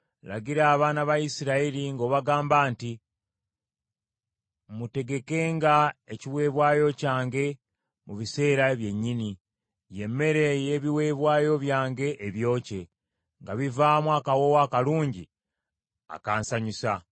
“Lagira abaana ba Isirayiri ng’obagamba nti, ‘Mutegekenga ekiweebwayo kyange mu biseera bye nnyini, ye mmere ey’ebiweebwayo byange ebyokye, nga bivaamu akawoowo akalungi akansanyusa.’